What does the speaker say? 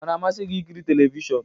Ọ na-amasị gị ịkịrị telivishọn?